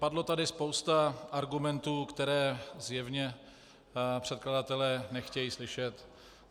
Padlo tady spousta argumentů, které zjevně předkladatelé nechtějí slyšet.